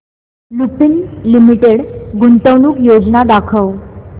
Lupin limited गुंतवणूक योजना दाखव